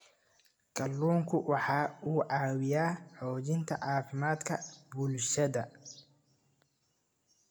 Kalluunku waxa uu caawiyaa xoojinta caafimaadka bulshada.